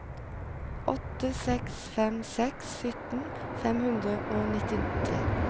åtte seks fem seks sytten fem hundre og nittitre